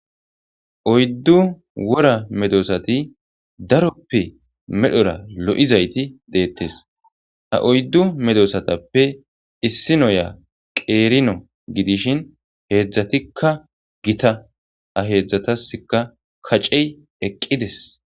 oyddu wora medosati daroppe medhora lo7izayti deettes ha oyddu medosatappe issi noya qeerino gidishin heedzdzatikka gita a heedzdzataska kacey eqqides